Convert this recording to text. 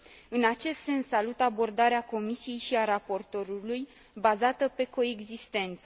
În acest sens, salut abordarea Comisiei și a raportorului bazată pe coexistență.